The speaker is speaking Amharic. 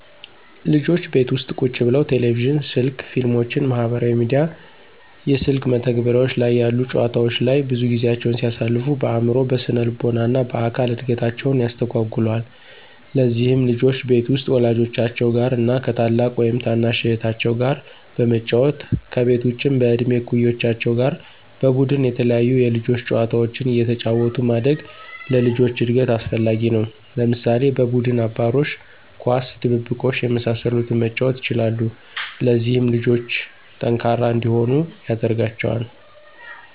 ልጆች ቤት ውስጥ ቁጭ ብለው ቴሌቪዥን፣ ስልክ፣ ፊልሞችን፣ ማህበራዊ ሚዲያ፣ የስልክ መተግበሪያ ላይ ያሉ ጨዋታወች ላይ ብዙ ጊዜያቸውን ሲያሳልፉ በአዕምሮ፣ በስነልቦና እና በአካል እድገታቸውን ያስተጓጉለዋል። ለዚህም ልጆች ቤት ውስጥ ወላጆቻቸው ጋር እና ከ ታላቅ ወይም ታናሽ እህታቸው ጋር በመጫወት፤ ከቤት ውጭም በእድሜ እኩዮቻቸው ጋር በቡድን የተለያዩ የልጆች ጨዋታዎችን አየተጫወቱ ማደግ ለልጆች እድገት አስፈላጊ ነው። ለምሳሌ፦ በቡድን አባሮሽ፣ ኳስ፣ ድብብቆሽ የመሳሰሉትን መጫወት ይችላሉ። ለዚህም ልጆቹ ጠንካራ እንዲሆኑ ያደርጋቸዋል።